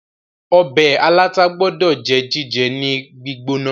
ọbẹ̀ aláta gbódò jẹ́ jíjẹ ní gbígbóná